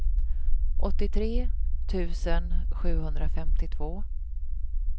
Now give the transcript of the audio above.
åttiotre tusen sjuhundrafemtiotvå